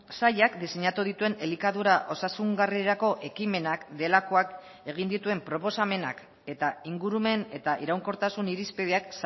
sailak diseinatu dituen elikadura osasungarrirako ekimenak delakoak egin dituen proposamenak eta ingurumen eta iraunkortasun irizpideak